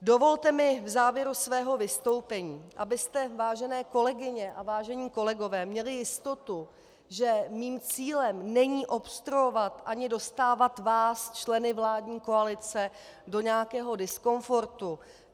Dovolte mi v závěru svého vystoupení, abyste, vážené kolegyně a vážení kolegové, měli jistotu, že mým cílem není obstruovat ani dostávat, vás členy vládní koalice, do nějakého diskomfortu.